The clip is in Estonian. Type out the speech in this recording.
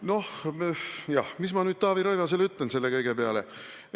Noh jah, mis ma nüüd Taavi Rõivasele ütlen selle kõige peale?